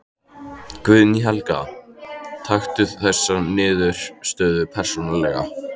Guðný Helga: Tekurðu þessa niðurstöðu persónulega?